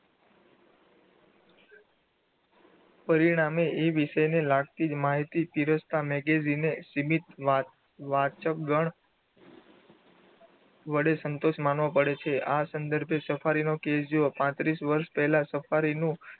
પરિણામે એ વિષયને લાગતી જ માહિતી પીરસ્તા magazine એ સીમિત વાંચગણ વડે સંતોષ માનવો પડે છે આ સંદર્ભે સફારીનું પાત્રીસ વર્ષ પહેલા સફારીનુ